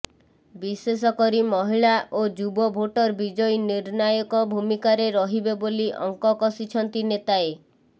ବିଶେଷ କରି ମହିଳା ଓ ଯୁବ ଭୋଟର୍ ବିଜୟୀ ନିର୍ଣ୍ଣାୟକ ଭୂମିକାରେ ରହିବେ ବୋଲି ଅଙ୍କ କଷିଛନ୍ତି ନେତାଏ